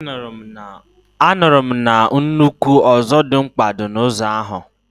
anuru m na nnukwu Ozodimgba di na zoo ahu